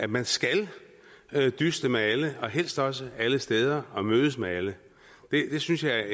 man skal dyste med alle og helst også alle steder og mødes med alle det synes jeg